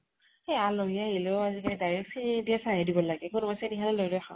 এ আলহী আহিলেও আজি কালি direct চেনি নিদিয়া চাহে দিব লাগে। কোনোবাই চেনি খালে লৈ লৈ খাৱক।